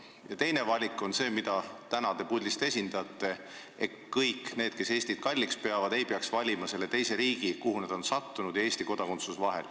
Ja teine suund on see, mida teie puldis olles esindate: kõik need, kes Eestit kalliks peavad, ei pea valima, kas olla selle teise riigi kodanik, kuhu nad on sattunud, või Eesti kodanik.